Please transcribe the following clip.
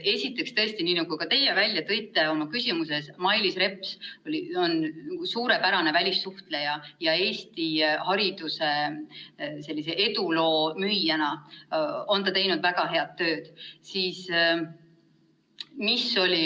Esiteks, tõesti, nagu ka teie välja tõite oma küsimuses, Mailis Reps on suurepärase välissuhtlejana ja Eesti hariduse eduloo müüjana teinud väga head tööd.